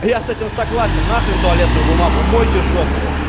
я с этим согласен на хрен туалетную бумагу мойте жопу